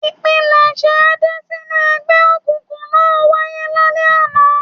Ìpilẹ̀ṣẹ̀ Adé sínú ẹgbẹ́ òkùnkùn náà wáyé lálẹ́ àná.